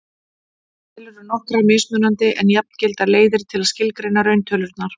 til eru nokkrar mismunandi en jafngildar leiðir til að skilgreina rauntölurnar